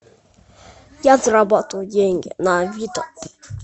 я заработал деньги на авито